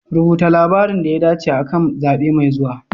Rubuta labarin da ya dace akan zabe mai zuwa.